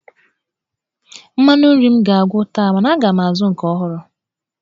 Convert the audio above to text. Mmanụ nri m ga-agwụ taa mana aga m azụ nke ọhụrụ.